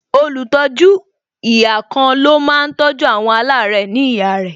Olùtọ́jú ihà kan ló máa tọ́jú àwọn alare ní ihà rẹ